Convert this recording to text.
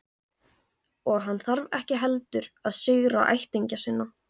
Og hann þarf ekki heldur að syrgja ættingja sína.